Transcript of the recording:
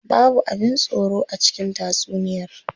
Babu abin tsoro a cikin tatsuniyar.